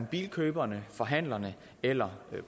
bilkøberne forhandlerne eller